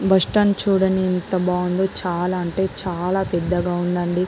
Bus stand చూడండి ఎంత బాగుందో.చాలా అంటే చాలా పెద్దగా ఉందండి.